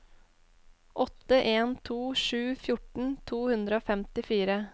åtte en to sju fjorten to hundre og femtifire